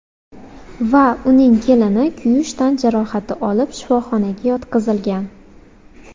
va uning kelini kuyish tan jarohati olib, shifoxonaga yotqizilgan.